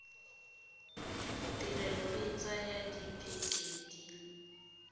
tirelo e tsaya dibeke di